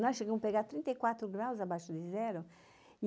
Lá chegamos a pegar trinta e quatro graus abaixo de zero.